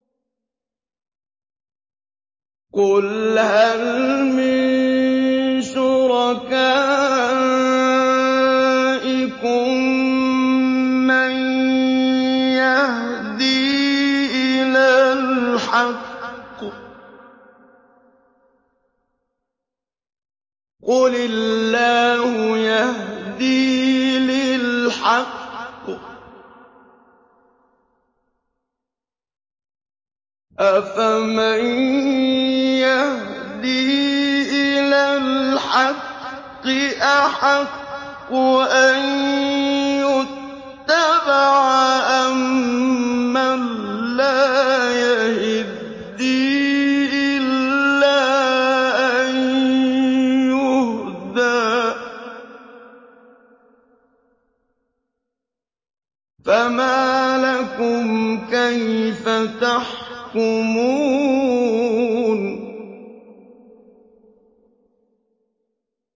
قُلْ هَلْ مِن شُرَكَائِكُم مَّن يَهْدِي إِلَى الْحَقِّ ۚ قُلِ اللَّهُ يَهْدِي لِلْحَقِّ ۗ أَفَمَن يَهْدِي إِلَى الْحَقِّ أَحَقُّ أَن يُتَّبَعَ أَمَّن لَّا يَهِدِّي إِلَّا أَن يُهْدَىٰ ۖ فَمَا لَكُمْ كَيْفَ تَحْكُمُونَ